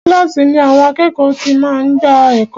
Kílàsì ni àwọn àkẹ́ẹ̀kọ́ ti máa ń gbà ẹ̀kọ́.